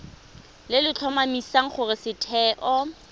le le tlhomamisang gore setheo